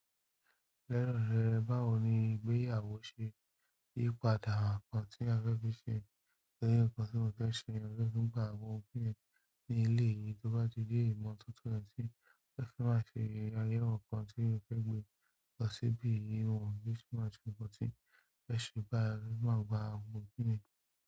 Rárá, báwo ni ìgbéyàwó ṣe yí padà nǹkan tí a fẹ́ fi ṣe? Òní nǹkan tí mo fẹ́ ṣe ni pé kí n gba àwọn obìnrin ní ilé yìí tó bá ti jẹ́ ìgbà ọ̀tọ̀ọ̀tọ̀ ni tí ẹ fi máa ṣe ayẹyẹ nǹkan tí ẹ fẹ́ gbe lọ síbí ìwọ̀n yí tí màá ṣe nǹkan tí ẹ ṣe bá mi má gba àwọn obìnrin.